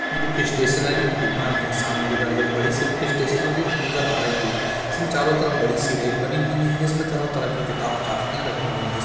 book stationery की दुकान है | सामने की तरफ एक बड़ी सी बुक स्टैटिनरी नजर आ रही है | इसमें चारो तरफ बड़ी सी रेक बनी हुई है इसमें तरह तरह की किताब कापियाँ रखी हुई हैं |